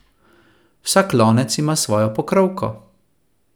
Vsak lonec ima svojo pokrovko.